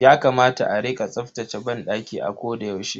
Yakamata a rika tsaftace banɗaki a koda yaushe.